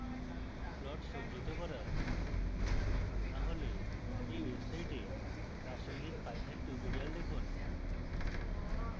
plot সজ্জিত করা